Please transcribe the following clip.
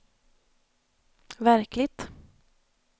verkligt